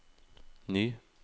ny